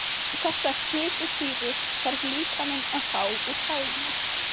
Þessar fitusýrur þarf líkaminn að fá úr fæðunni.